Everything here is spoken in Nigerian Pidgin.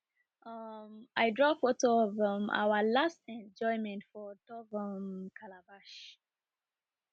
um i draw photo of um our last enjoyment for on top um calabash